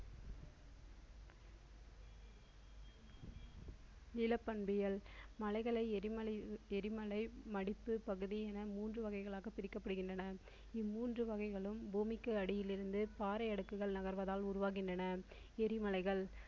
நிலப் பண்பியல் மலைகளை எரிமலை எரிமலை மடிப்பு பகுதி என மூன்று வகைகளாக பிரிக்கப்படுகின்றன இம்மூன்று வகைகளும் பூமிக்கு அடியில் இருந்து பாறை அடுக்குகள் நகர்வதால் உருவாகின்றன எரிமலைகள்